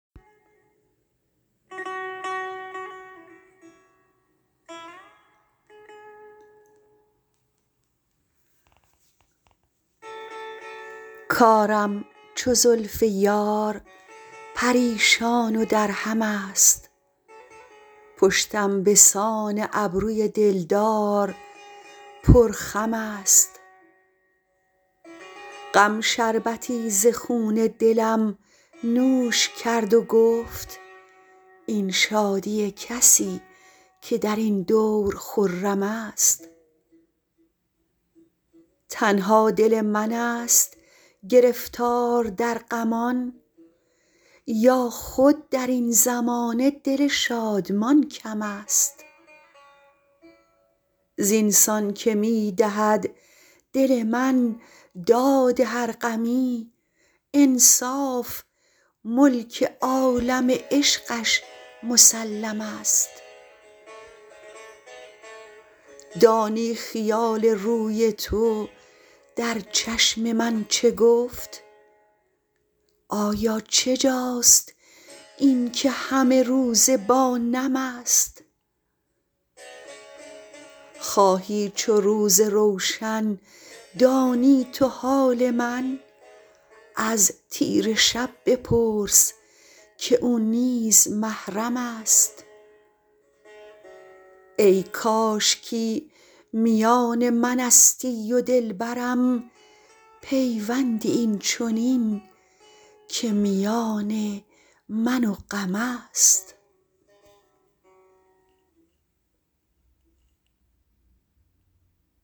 کارم چو زلف یار پریشان و درهم است پشتم به سان ابروی دل دار پرخم است غم شربتی ز خون دلم نوش کرد و گفت این شادی کسی که در این دور خرم است تنها دل من ست گرفتار در غمان یا خود در این زمانه دل شادمان کم است زین سان که می دهد دل من داد هر غمی انصاف ملک عالم عشقش مسلم است دانی خیال روی تو در چشم من چه گفت آیا چه جاست این که همه روزه با نم است خواهی چو روز روشن دانی تو حال من از تیره شب بپرس که او نیز محرم است ای کاشکی میان من استی و دل برم پیوندی این چنین که میان من و غم است